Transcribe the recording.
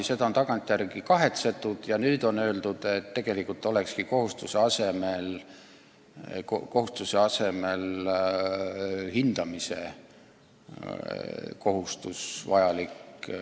Seda on tagantjärele kahetsetud ja nüüd on öeldud, et tolle kohustuse asemel on vajalik hindamise kohustus.